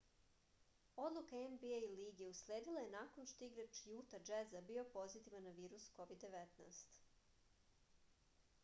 odluka nba lige usledila je nakon što je igrač juta džeza bio pozitivan na virus covid-19